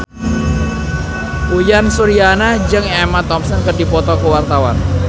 Uyan Suryana jeung Emma Thompson keur dipoto ku wartawan